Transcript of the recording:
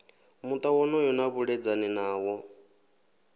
muta wonoyo na vhaledzani nawo